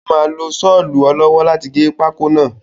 Ó máa lo sọlu ọ lọ́wọ́ láti gé pákó náà.